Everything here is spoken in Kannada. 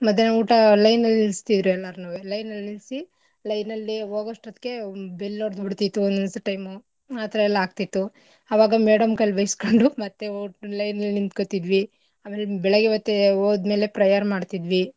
ಮಧ್ಯಾಹ್ನ ಊಟ line ಅಲ್ ನಿಲ್ಸ್ತಿದ್ರು ಎಲ್ಲಾರ್ನೂವೆ line ಅಲ್ ನಿಲ್ಸಿ line ಅಲ್ಲಿ ಹೋಗೊಷ್ಟ್ಹೊತ್ಗೆ bell ಹೊಡ್ದುಬಿಡ್ತಿತ್ತು ಒನ್ ಒನ್ಸ್ time ಉ ಆತರ ಎಲ್ಲಾ ಆಗ್ತಿತ್ತು ಆವಾಗ madam ಕೈಲ್ ಬೈಸ್ಕೊಂಡು line ನಲ್ ನಿಂತ್ಕೊತಿದ್ವಿ ಆಮೇಲೆ ಬೆಳಿಗ್ಗೆ ಹೊತ್ತು ಹೋದ್ಮೇಲೆ prayer ಮಾಡ್ತಿದ್ವಿ.